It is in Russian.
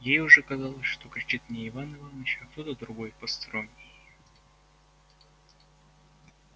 ей уже казалось что кричит не иван иваныч а кто-то другой посторонний